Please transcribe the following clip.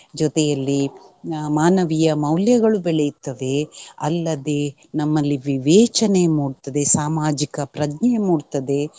ಜೊತೆಯಲ್ಲಿ ಮಾನವೀಯ ಮೌಲ್ಯಗಳು ಬೆಳೆಯುತ್ತವೆ ಅಲ್ಲದೆ ನಮ್ಮಲ್ಲಿ ವಿವೇಚನೆ ಮೂಡ್ತದೆ ಸಾಮಾಜಿಕ ಪ್ರಜ್ಞೆ ಮೂಡ್ತದೆ.